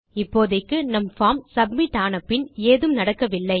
இப்போதைக்கு நம் form submit ஆன பின் ஏதும் நடக்கவில்லை